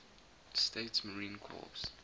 states marine corps